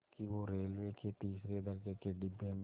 कि वो रेलवे के तीसरे दर्ज़े के डिब्बे में